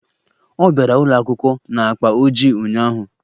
Ọ bịara ụlọ akwụkwọ na akpa ojii ụnyaahụ